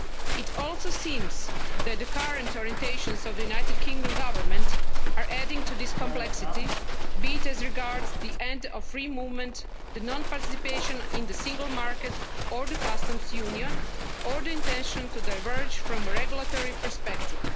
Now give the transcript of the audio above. It also seems that the current orientations of the United Kingdom Government are adding to this complexity, be it as regards the end of free movement, non-participation in the Single Market or the Customs Union, or the intention to diverge from a regulatory perspective.